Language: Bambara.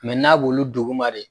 n'a b'olu dugu ma de